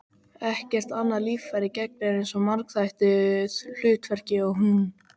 Ekkert annað líffæri gegnir eins margþættu hlutverki og hún.